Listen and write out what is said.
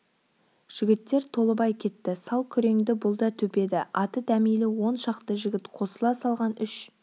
жігіттер толыбай кетті сал күреңді бұл да төпеді аты дәмелі он шақты жігіт қосыла салған үш